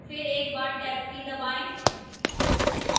फिर एक बार टैब की दबाएं